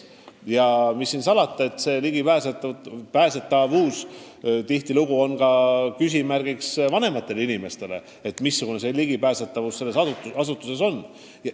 Ja mis siin salata, see on tihtilugu probleem ka vanematele inimestele, kes ei tea, mismoodi ühele või teisele asutusele ligi pääseb.